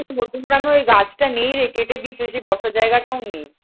মধ্যমগ্রামের ওই গাছটা নেই রে, কেটে দিয়েছে সেই বসার জায়গাটাও নেই।